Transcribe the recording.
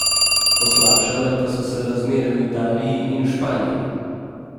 Poslabšale pa so se razmere v Italiji in Španiji.